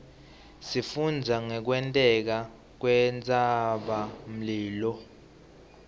isifundzisa ngekwenteka kwentsabamlilo